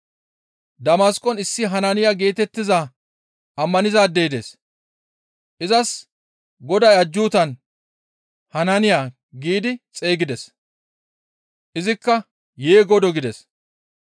Damasqon issi Hanaaniya geetettiza ammanizaadey dees; izas Goday ajjuutan, «Hanaaniya» giidi xeygides; izikka, «Yee Godoo!» gides.